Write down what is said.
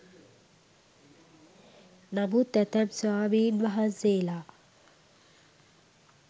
නමුත් ඇතැම් ස්වාමීන් වහන්සේලා